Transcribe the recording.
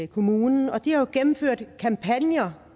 kommunen og de har jo gennemført kampagner